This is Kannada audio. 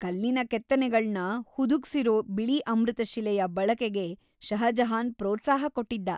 ಕಲ್ಲಿನ ಕೆತ್ತನೆಗಳ್ನ ಹುದುಗ್ಸಿರೋ ಬಿಳಿ ಅಮೃತಶಿಲೆಯ ಬಳಕೆಗೆ ಶಹಜಹಾನ್ ಪ್ರೋತ್ಸಾಹ ಕೊಟ್ಟಿದ್ದ.